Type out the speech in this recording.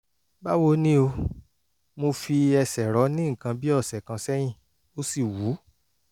báwo ni o? mo fi ẹsẹ̀ rọ́ ní nǹkan bí ọ̀sẹ̀ kan sẹ́yìn ó sì wú